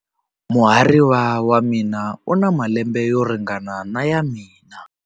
Muhariva wa mina u na malembe yo ringana na ya mina.